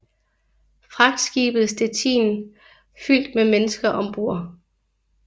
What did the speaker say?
Fragtskibet Stettin fyldt med mennesker ombord